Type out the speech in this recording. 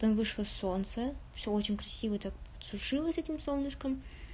там вышло солнце всё очень красиво так подсушилось с этим солнышком